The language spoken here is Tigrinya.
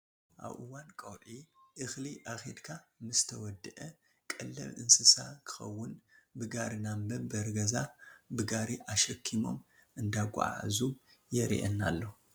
ኣብ እዋን ቆብፂ እክሊ ኣክድካ ምስ ተወደኣ ቀለብ እንስሳ ክከውን ብጋሪ ናብ መንበሪ ገዛ ብጋሪ ኣሸኪሞም እንዳጓዓዓዙ የሪኣና ኣሎ ።